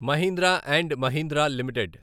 Mahindra and Mahindra limited